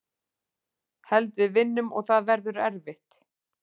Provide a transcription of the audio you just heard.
Held við vinnum og það verður erfitt.